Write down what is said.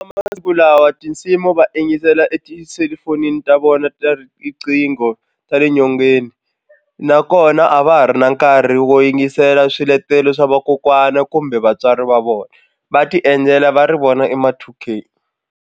Masiku lawa tinsimu va yingisela etiselufonini ta vona ta riqingho ra le nyongeni nakona a va ha ri na nkarhi wo yingisela swiletelo swa vakokwana kumbe vatswari va vona va tiendlela va ri vona i ma two K.